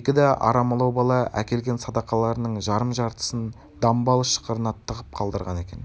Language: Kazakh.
екі да арамылау бала әкелген садақаларының жарым жартысын дамбал ышқырына тығып қалдырған екен